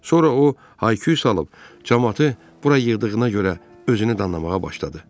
Sonra o hay-küy salıb camaatı bura yığdığına görə özünü danlamağa başladı.